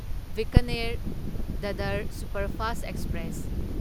Bikaner Dadar superfast express